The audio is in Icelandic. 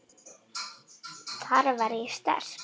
Þar var ég sterk.